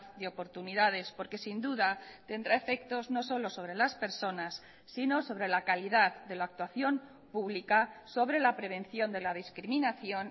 de oportunidades porque sin duda tendrá efectos no solo sobre las personas sino sobre la calidad de la actuación pública sobre la prevención de la discriminación